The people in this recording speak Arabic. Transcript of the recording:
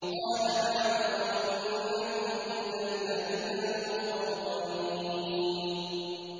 قَالَ نَعَمْ وَإِنَّكُمْ إِذًا لَّمِنَ الْمُقَرَّبِينَ